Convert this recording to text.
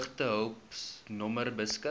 droogtehulp nommer beskik